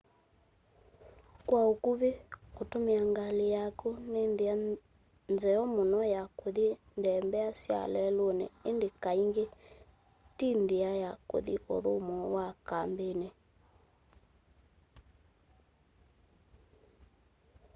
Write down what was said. kwa ũkuvĩ kũtũmĩa ngalĩ yaku nĩ nthĩa nzeo mũno ya kũthi ndembea sya lelũnĩ ĩndĩ kaingĩ ti nthĩa ya kũthi ũthũmũo wa kambinĩ